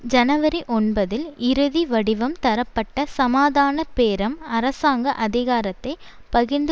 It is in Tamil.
ஜனவரி ஒன்பதில் இறுதி வடிவம் தரப்பட்ட சமாதான பேரம் அரசாங்க அதிகாரத்தை பகிர்ந்து